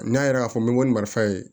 N'a yɛrɛ y'a fɔ n bɛ nin marifa ye